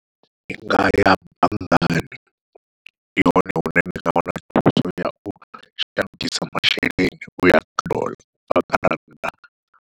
Ndi nga ya banngani ndi hone hune ndi nga wana thuso yau shandukisa masheleni uya kha doḽa ubva kha rannda.